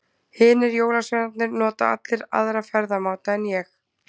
Hinir jólasveinarnir nota allir aðra ferðamáta en ég.